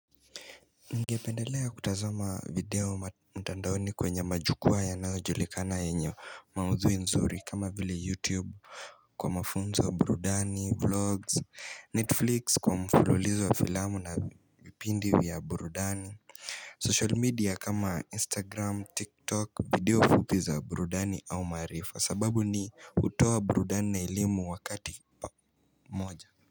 Ningependelea kutazama video mtandaoni kwenye majukwaa yanayojulikana yenye maudhui nzuri kama vile youtube Kwa mafunzo burudani, vlogs, netflix, kwa mfululizo wa filamu na vipindi ya burudani social media kama instagram, tiktok, video fupiza burudani au maarifa sababu ni hutoa burudani na elimu wakati pamoja.